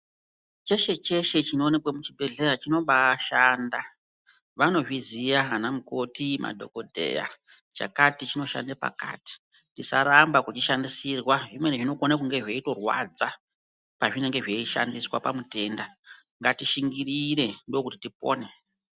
Cheshe Cheshe chinoonekwa muchibhehlera chinobaishanda vanozviziya anamukoti madhokoteya kuti chakati chonshanda pakati tisaramba kuchishandisirwa zvimweni zvinokona kunge zveitorwadza ngatishingirire.